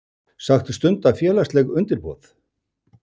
Sagt stunda félagsleg undirboð